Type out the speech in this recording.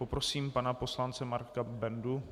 Poprosím pana poslance Marka Bendu.